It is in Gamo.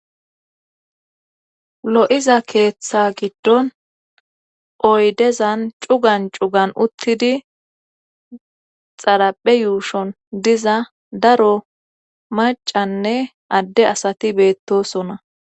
Loyza ketha gidon oydezzan cugan cugan utidi ,araphe yushon daro macanne adde asati betosonna.